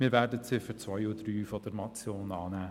Wir werden die Ziffern 2 und 3 dieser Motion annehmen.